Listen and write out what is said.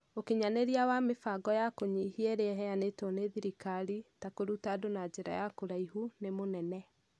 Ũkinyanĩria wa mĩbango ya kũnyihia ĩrĩa ĩheanĩtwo nĩ thirikari (ta kũruta andũ na njĩra ya kũraihu) nĩ mũnene.